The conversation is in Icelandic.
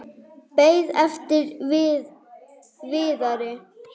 Beið eftir Viðari.